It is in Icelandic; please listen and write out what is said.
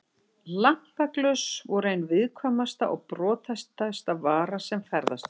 Lampaglös voru ein viðkvæmasta og brothættasta vara sem ferðast var með.